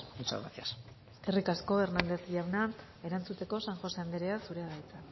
muchas gracias eskerrik asko hernández jauna erantzuteko san josé anderea zurea da hitza